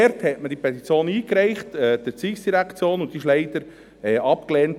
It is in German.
Diese Petition wurde zuhanden der ERZ eingereicht, aber sie wurde leider abgelehnt.